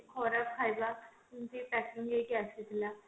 କ୍ଷରବ ଖାଇବା ଏମିତି packing ହେଇକି ଆସିଥିଲା